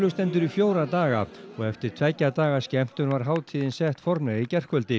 stendur í fjóra daga og eftir tveggja daga skemmtun var hátíðin sett formlega í gærkvöldi